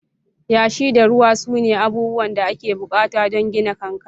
Yashi da ruwa sune abubuwan da ake bukata don gina kankare.